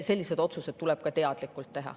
Selliseid otsuseid tuleb ka teadlikult teha.